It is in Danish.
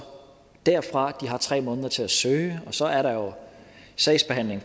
derfra de har tre måneder til at søge og så er der jo sagsbehandling i